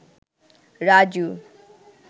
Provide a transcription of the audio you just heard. Raju